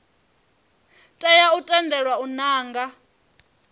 tea u tendelwa u nanga